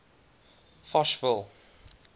fochville